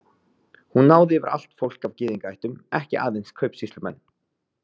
Hún náði yfir allt fólk af gyðingaættum, ekki aðeins kaupsýslumenn.